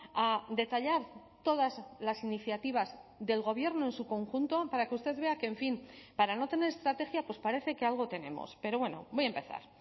a detallar todas las iniciativas del gobierno en su conjunto para que usted vea que en fin para no tener estrategia pues parece que algo tenemos pero bueno voy a empezar